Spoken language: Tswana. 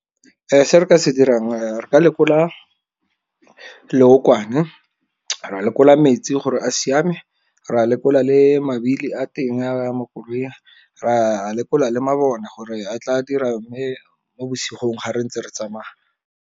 Se re ka se dirang re ka lekola leokwane, ra lekola metsi gore a siame, ra lekola le mabili a teng a mo koloing, ra lekola le mabone gore a tla dira mme mo bosigo ga re ntse re tsamaya.